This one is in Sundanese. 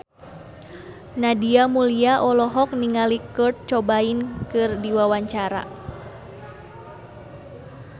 Nadia Mulya olohok ningali Kurt Cobain keur diwawancara